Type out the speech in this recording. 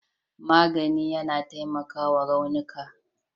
magani yAna taimakawa raunuka